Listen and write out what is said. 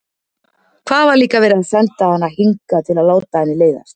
Hvað var líka verið að senda hana hingað til að láta henni leiðast?